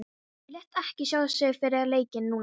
Hann lét ekki sjá sig fyrir leikinn núna.